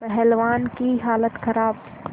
पहलवान की हालत खराब